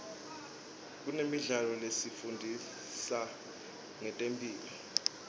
kunemidlalo lefundisa ngetemphilo